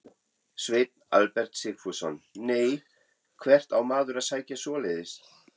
Sveinn Albert Sigfússon: Nei, hvert á maður að sækja svoleiðis?